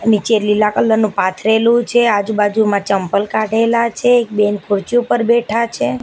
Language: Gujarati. નીચે લીલા કલર નું પાથરેલું છે આજુબાજુમાં ચંપલ કાઢેલા છે એક બેન ખુરચી ઉપર બેઠા છે.